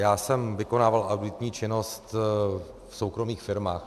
Já jsem vykonával auditní činnost v soukromých firmách.